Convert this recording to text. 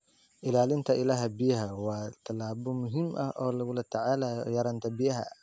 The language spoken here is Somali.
Ilaalinta ilaha biyaha waa tallaabo muhiim ah oo lagula tacaalayo yaraanta biyaha.